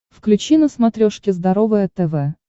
включи на смотрешке здоровое тв